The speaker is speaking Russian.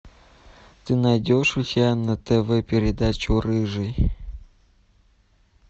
ты найдешь у себя на тв передачу рыжий